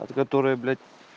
от которой блять